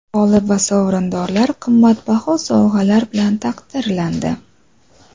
G‘olib va sovrindorlar qimmatbaho sovg‘alar bilan taqdirlandi.